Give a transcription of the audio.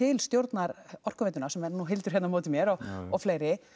til stjórnar Orkuveitunnar sem er nú Hildur hérna á móti mér og fleiri